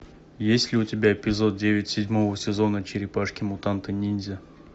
есть ли у тебя эпизод девять седьмого сезона черепашки мутанты ниндзя